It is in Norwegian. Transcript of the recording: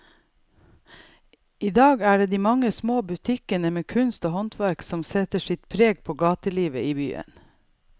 I dag er det de mange små butikkene med kunst og håndverk som setter sitt preg på gatelivet i byen.